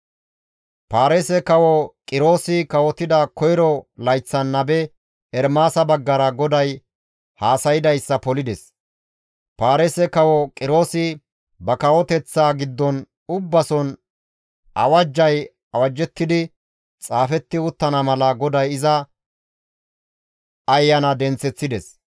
Paarise Kawo Qiroosi kawotida koyro layththan nabe Ermaasa baggara GODAY haasaydayssa polides. Paarise kawo Qiroosi ba kawoteththaa giddon ubbason awajjay awajjettidi xaafetti uttana mala GODAY iza ayana denththeththides.